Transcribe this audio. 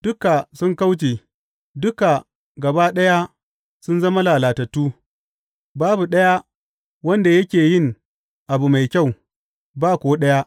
Duka sun kauce, duka gaba ɗaya sun zama lalatattu; babu ɗaya wanda yake yin abu mai kyau, ba ko ɗaya.